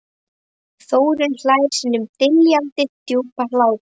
Þórunn hlær sínum dillandi djúpa hlátri.